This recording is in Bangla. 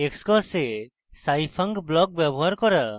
xcos এ scifunc block ব্যবহার করা